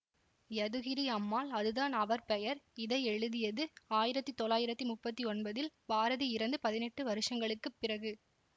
யதுகிரி அம்மாள் அதுதான் அவர் பெயர் இதை எழுதியது ஆயிரத்தி தொள்ளாயிரத்தி முப்பத்தி ஒன்பதில் பாரதி இறந்து பதினெட்டு வருஷங்களுக்கு பிறகு